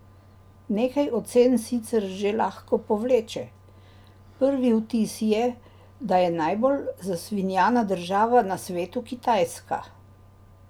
Nekaj ocen sicer že lahko povleče: "Prvi vtis je, da je najbolj zasvinjana država na svetu Kitajska.